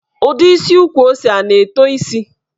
Ụdị isi ukwu ose a na-eto isi?